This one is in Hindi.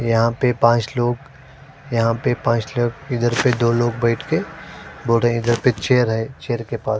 यहाँ पर पांच लोग यहाँ पर पांच लोग इधर से दो लोग बैठ के बूढ़े है जो पीछे चेयर है चेयर के पास।